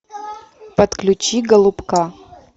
подключи голубка